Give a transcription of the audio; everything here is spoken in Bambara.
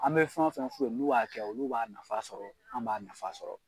An bɛ fɛn fɛn f'u ye n'u b'a kɛ, olu b'a nafa sɔrɔ , an b'a nafa sɔrɔ!